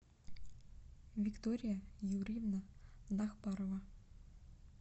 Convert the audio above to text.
виктория юрьевна нахбарова